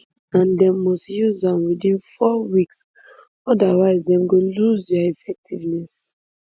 and dem must use am within four weeks otherwise dem go lose dia effectiveness